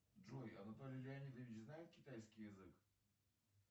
джой анатолий леонидович знает китайский язык